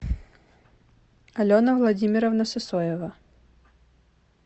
алена владимировна сысоева